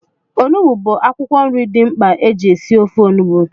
Onugbu bụ akwụkwọ nri dị mkpa eji esi ofe onugbu